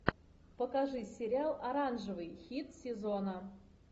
покажи сериал оранжевый хит сезона